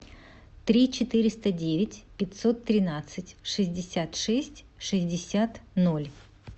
три четыреста девять пятьсот тринадцать шестьдесят шесть шестьдесят ноль